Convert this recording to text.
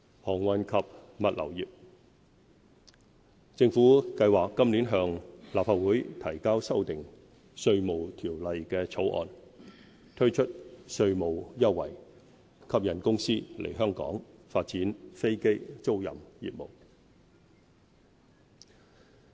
航運及物流業政府計劃今年向立法會提交修訂《稅務條例》的草案，推出稅務優惠，吸引公司來港發展飛機租賃業務。